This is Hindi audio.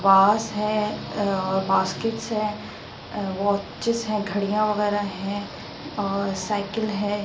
वाश है अ बास्केट्स हैं अ वॉचेस है घड़ियां वगैरा हैं और साइकिल है।